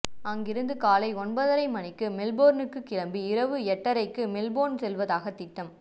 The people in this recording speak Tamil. அங்கிருந்து காலை ஒன்பதரை மணிக்கு மெல்போர்னுக்குக் கிளம்பி இரவு எட்டரைக்கு மெல்போன் செல்வதாக திட்டம்